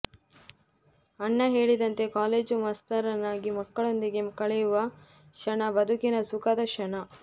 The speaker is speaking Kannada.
ಅಣ್ಣ ಹೇಳಿದಂತೆ ಕಾಲೇಜು ಮಾಸ್ತರನಾಗಿ ಮಕ್ಕಳೊಂದಿಗೆ ಕಳೆಯುವ ಕ್ಷಣ ಬದುಕಿನ ಸುಖದ ಕ್ಷಣ